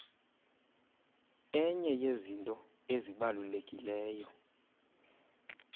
enye yezinto ezibalulekileyo